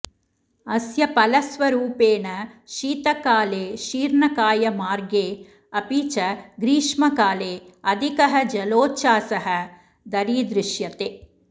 अस्य फलस्वरूपेण शीतकाले शीर्णकायमार्गे अपि च ग्रीष्मकाले अधिकः जलोच्छासः दरीदृश्यते